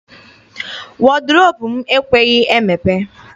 Wọdrobụ m ekweghị emepe.